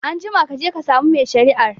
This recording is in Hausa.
Anjima kaje ka samu mai shari'ar